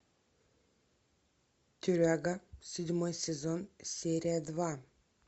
тюряга седьмой сезон серия два